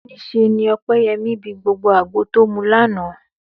Níṣe ni Ọpẹ́yẹmí bi gbogbo àgbo tó mu lánàá